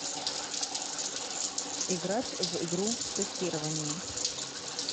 играть в игру тестирование